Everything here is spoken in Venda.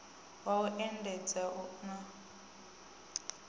wa u endedza na u